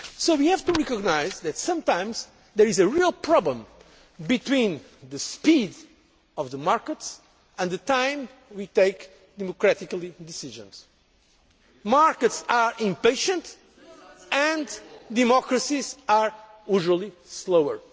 We have to recognise that sometimes there is a real problem between the speed of the markets and the time we take to make democratic decisions. Markets are impatient and democracies are usually slower.